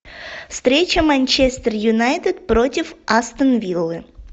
встреча манчестер юнайтед против астон виллы